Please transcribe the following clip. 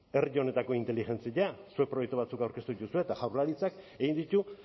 herri honetako inteligentzia zuek proiektu batzuk aurkeztu dituzue eta jaurlaritzak egin ditu